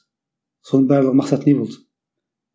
соның барлығы мақсаты не болды